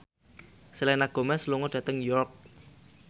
Selena Gomez lunga dhateng York